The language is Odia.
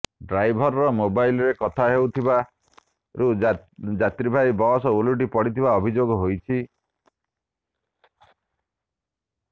ଡ୍ରାଇଭର ମୋବାଇଲରେ କଥା ହେଉଥିବାରୁ ଯାତ୍ରୀବାହୀ ବସ୍ ଓଲଟି ପଡିଥିବା ଅଭିଯୋଗ ହୋଇଛି